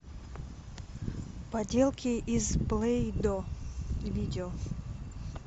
поделки из плей до видео